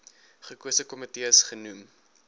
gekose komitees genoem